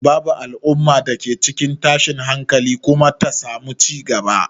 Babu al'umma da ke cikin tashin hankali kuma ta samu cigaba.